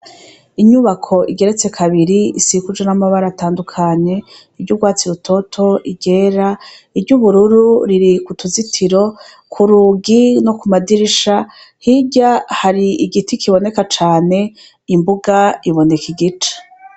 Inyubako igeretse kabiri isikuje n'amabara atandukanye iryo urwatsi rutoto igera iryo ubururu riri ku tuzitiro ku rugi no ku madirisha hirya hari igiti kiboneka cane imbuga iboneka igice.